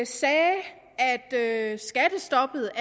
sagde at skattestoppet